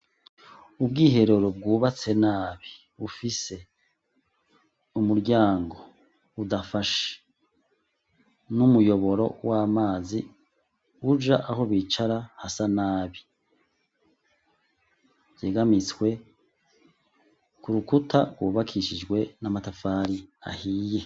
Ubwiherero bwubatse nabi bufise umuryango udafashe n'umuyoboro w'amazi uja aho bicara hasa nabi, hegamitswe ku rukuta rwubakishijwe n'amatafari ahiye.